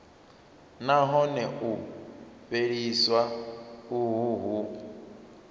nahone u fheliswa uho hu